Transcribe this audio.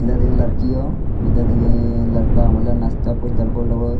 इधर एक लड़की हो इधर एएएं लड़का मतलब नास्ता कुछ देलको लोगो --